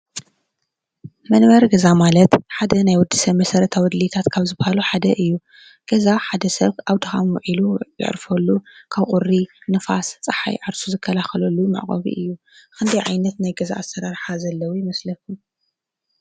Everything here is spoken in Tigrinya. መንበሪ ገዛ ማለት ሓደ ናይ ወዲ ሰብ መሰረታዊ ድልየታት ካብ ዝባሃሉ ሓደ እዩ፡፡ ገዛ ሓደ ሰብ ኣብ ድካም ዊዒሉ የዕርፈሉ ካብ ቁሪ፣ ንፋስ፣ ፀሓይ ዓርሱ ዝከላለሉ መዕቆቡ እዩ፡፡ ክንደይ ዓይነት ናይ ገዛ ኣሰራርሓ ዘለዉ ይመስለኩም?